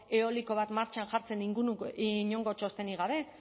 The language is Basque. eoliko bat martxan jartzen inongo txostenik gabe